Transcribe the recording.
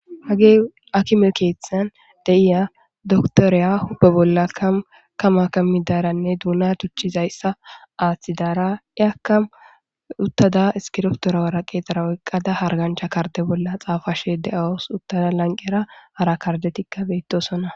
Hage akimekeethan deiya doktoriya hubbe bolla kakama kammidaranne duuna tuchchizayssa aathtidaara iyakka uttada eskiroftora waraqedara weqqada hargancha karde bolla xaafashe de'wos uttada lanqera hara kardetikka beettosona.